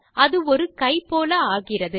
அது ஒரு கை போல ஆகிறது